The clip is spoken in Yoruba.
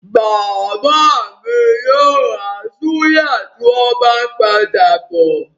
Bàbá mi yóò ra súyà tí wọ́n bá ń padà bọ̀.